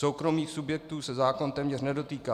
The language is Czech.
Soukromých subjektů se zákon téměř nedotýká.